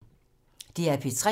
DR P3